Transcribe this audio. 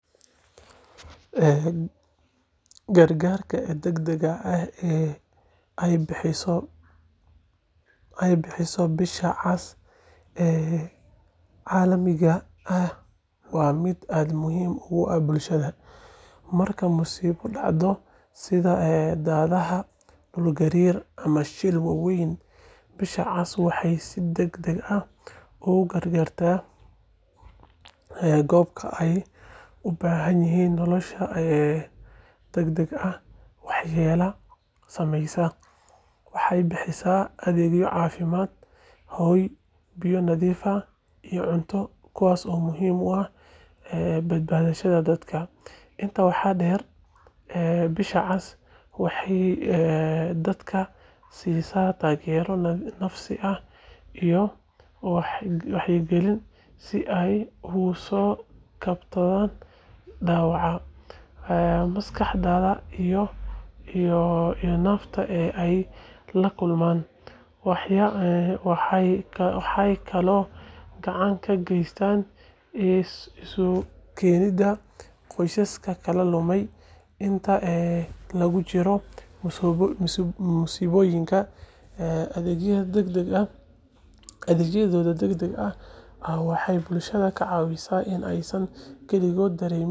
Ee gar garka dag daga eh ee bixiso bisha cas ee calamiga ah waa miid aad muhiim ogu ah bulshaada, marki musiba dacdo sitha ee daraha dul garir ama shir wawen bisha cas waxee si dag dag ah ugu gar garta ee gobka ee u bahan yihin nolosha ee dag dag ah waxayala sameysa waxee bixisa adhegyo cafimaad hoy biyo nadhiif ah iyo cunto kuwas oo muhiim u ah ee bad badashaada dadka inta waxaa der ee bisha cas waxee dadka sisa tagero nafsi ah iyo waxya galin si u uso kabtama dawaca ee maskaxdeyda iyo nafta ee lakulman, waxee kalo kacan ka gestan ee isku kenida qosaska laka dumay inta lagu jiro musiboyinka ee adhegyaada dag daga eh waxee bulshaada ka cawisa in ee san kaligod rewin.